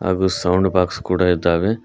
ಹಾಗು sound box ಕೂಡ ಇದ್ದಾವೆ.